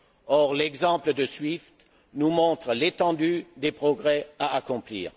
Or, l'exemple de SWIFT nous montre l'étendue des progrès à accomplir.